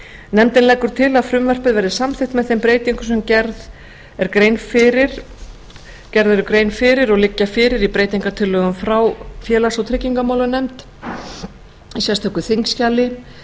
nefndin leggur til að frumvarpið verði samþykkt með þeim breytingum sem gerð er grein fyrir og liggja fyrir í breytingartillögum frá félags og tryggingamálanefnd í sérstöku þingskjali